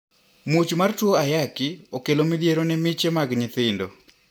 Muoch mar tuo ayaki okelo midhiero ne miche mag nyithindo.